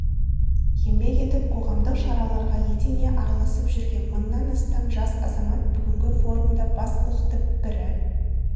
еңбек етіп қоғамдық шараларға етене араласып жүрген мыңнан астам жас азамат бүгінгі форумда бас қосты бірі